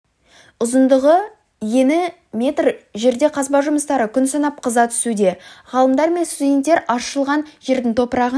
ұзындығы ені метр жерде қазба жұмыстары күн санап қыза түсуде ғалымдар мен студенттер аршылған жердің топырағын